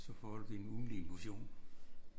Så får du din ugentlige motion